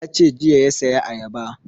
Ya ce jiya ya saya ayaba